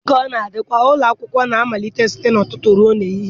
Dị ka ọ na-adịkarị, ụlọ akwụkwọ na-amalite site n'ụtụtụ ruo n'ehihie.